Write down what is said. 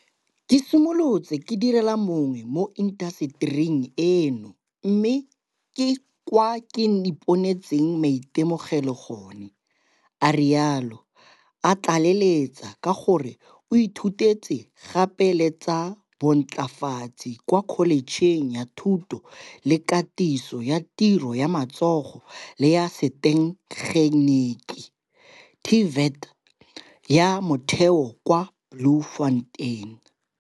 Ke simolotse ke direla mongwe mo intasetering eno mme ke kwa ke iponetseng maitemogelo gone, a rialo, a tlaleletsa ka gore o ithutetse gape le tsa bontlafatsi kwa kholetšheng ya thuto le katiso ya tiro ya matsogo le ya setegeniki TVET, ya Motheo kwa Bloemfontein.